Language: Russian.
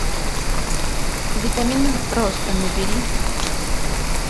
витамины роста набери